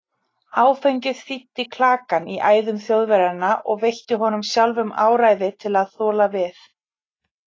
Áfengið þíddi klakann í æðum Þjóðverjanna og veitti honum sjálfum áræði til að þola við.